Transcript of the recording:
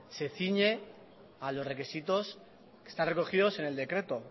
se ciñe a los requisitos que están recogidos en el decreto